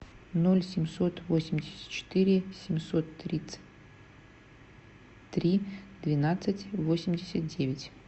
ноль семьсот восемьдесят четыре семьсот тридцать три двенадцать восемьдесят девять